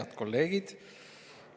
Head kolleegid!